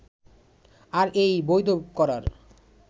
আর এই বৈধ করার